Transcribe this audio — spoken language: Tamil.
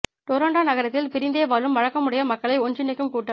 டொரண்டோ நகரத்தில் பிரிந்தே வாழும் வழக்கமுடைய மக்களை ஒன்றினைக்கும் கூட்டம்